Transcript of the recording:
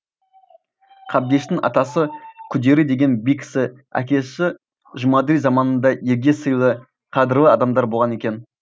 қабдештің атасы күдері деген би кісі әкесі жұмаділ заманында елге сыйлы қадірлі адамдар болған екен